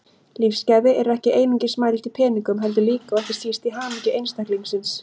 Lífsgæði eru ekki einungis mæld í peningum heldur líka, og ekki síst, í hamingju einstaklingsins.